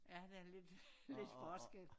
Ja der er lidt lidt forskel